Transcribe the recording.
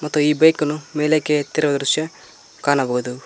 ಮತ್ತು ಈ ಬೈಕ್ ನು ಮೇಲಕ್ಕೆ ಎತ್ತಿರುವ ದೃಶ್ಯ ಕಾಣಬಹುದು.